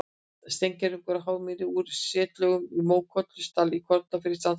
Steingervingur af hármýi úr setlögum í Mókollsdal í Kollafirði í Strandasýslu.